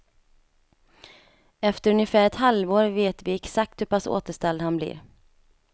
Efter ungefär ett halvår vet vi exakt hur pass återställd han blir.